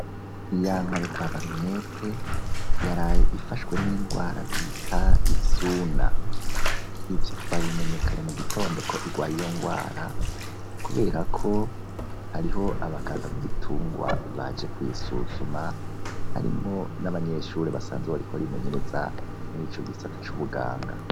Ya nka yo kwa Barunwete, yaraye ifashwe n'indwara bita isuna. Ivyo twabimenye kane mu gitondo ko igwaye iyo ngwara, kubera ko hariho abaganga b'ibitungwa baje kuyisuzuma, harimwo n'abanyeshuri basanzwe bariko barimenyereza muri ico gisata c'ubuganga.